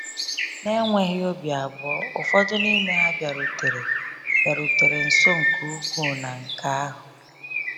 N'enweghị obi abụọ, ụfọdụ n’ime ha bịarutere bịarutere nso nke ukwuu na nke ahụ.